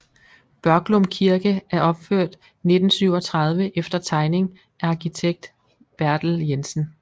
Børglum Kirke er opført 1937 efter tegning af arkitekt Bertel Jensen